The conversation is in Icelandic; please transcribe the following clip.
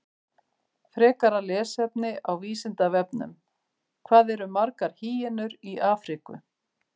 Frekara lesefni á Vísindavefnum: Hvað eru margar hýenur í Afríku?